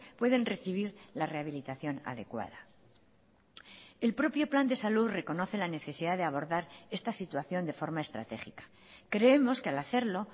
pueden recibir la rehabilitación adecuada el propio plan de salud reconoce la necesidad de abordar esta situación de forma estratégica creemos que al hacerlo